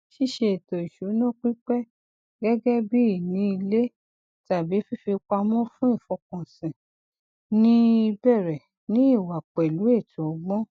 ṣíṣe ètò ìṣúná pípẹ gẹgẹ bí ìní ilé tàbí fífipamọ fún ìfọkànsìn ní í bẹrẹ ní ìwà pẹlú ètò ọgbọn